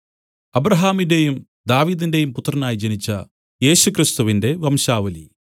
അബ്രാഹാമിന്‍റെയും ദാവീദിന്റെയും പുത്രനായി ജനിച്ച യേശുക്രിസ്തുവിന്റെ വംശാവലി